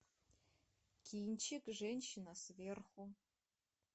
кинчик женщина сверху